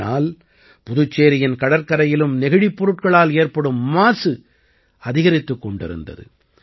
ஆனால் புதுச்சேரியின் கடற்கரையிலும் நெகிழிப் பொருட்களால் ஏற்படும் மாசு அதிகரித்துக் கொண்டிருந்தது